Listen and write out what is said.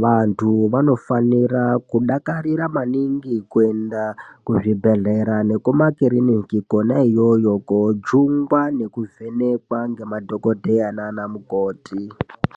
vantu vanofanira kudakarira maningi kuenda kuzvibhedhlera nekumakiriniki kona iyoyo koojungwa nekuvhenekwa ngemadhogodheya nanamukoti.